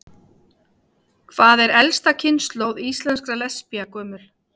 Hvað er elsta kynslóð íslenskra lesbía gömul?